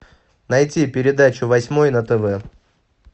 найти передачу восьмой на тв